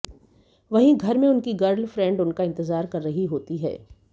वहीं घर में उनकी गर्लफ्रेंड उनका इंतजार कर रही होती हैं